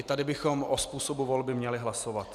I tady bychom o způsobu volby měli hlasovat.